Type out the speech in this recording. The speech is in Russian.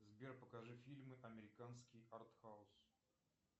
сбер покажи фильмы американский арт хаус